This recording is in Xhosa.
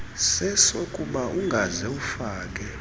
sesokuba ungaze ufake